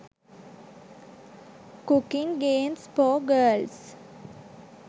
cooking games for girls